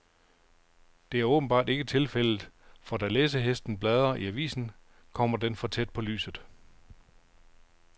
Det er åbenbart ikke tilfældet, for da læsehesten bladrer i avisen, kommer den for tæt på lyset.